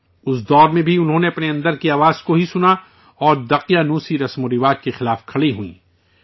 اس دور میں بھی انہوں نے اپنے اندر کی آواز کو ہی سنا اور قدامت پرست تصورات کے خلاف کھڑی ہوئیں